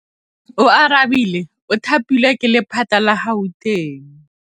Oarabile o thapilwe ke lephata la Gauteng.